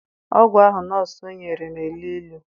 Ọgwụ ahụ nọọsụ nyere na-elụ ịlụ.